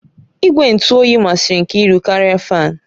Igwe ntụ oyi masịrị Nkiru karịa fáan